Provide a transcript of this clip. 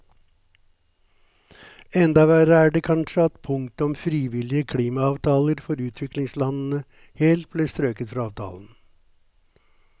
Enda verre er det kanskje at punktet om frivillige klimaavtaler for utviklingslandene helt ble strøket fra avtalen.